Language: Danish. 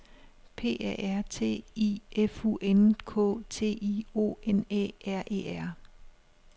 P A R T I F U N K T I O N Æ R E R